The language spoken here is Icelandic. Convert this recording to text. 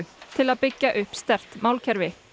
til að byggja upp sterkt málkerfi